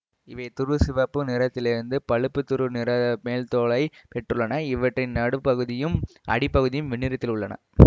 இவை துருசிவப்பு நிறத்திலிருந்து பழுப்புதுரு நிற மேல்தோலைப் பெற்றுள்ளன இவற்றின் நடுப் பகுதியும் அடிப்பகுதியும் வெண்ணிறத்தில் உள்ளன